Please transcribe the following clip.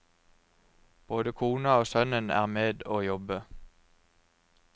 Både kona og sønnen er med å jobbe.